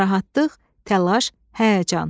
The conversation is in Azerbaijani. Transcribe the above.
narahatlıq, təlaş, həyəcan.